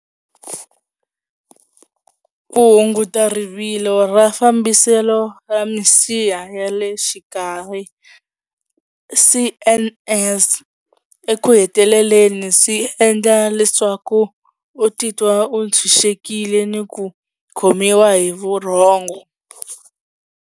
Ku hunguta rivilo ra fambiselo ra misiha ya le xikarhi C_N_S eku heteleleni swi endla leswaku u titwa u tshunxekile ni ku khomiwa hi vurhongo.